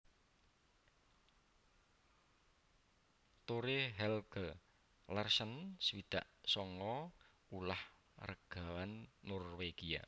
Tore Helge Larsen swidak sanga ulah ragawan Norwégia